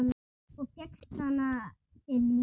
Og fékkst hana fyrir lítið!